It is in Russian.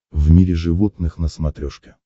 в мире животных на смотрешке